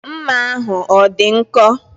Mma ahụ ọ dị nkọ?